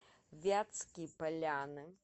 вятские поляны